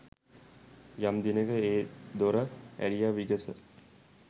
යම් දිනෙක ඒ දොර ඇරිය විගස